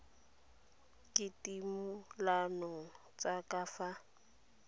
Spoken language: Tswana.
ke ditumalano tsa ka fa